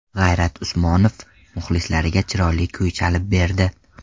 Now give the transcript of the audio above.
G‘ayrat Usmonov muxlislariga chiroyli kuy chalib berdi.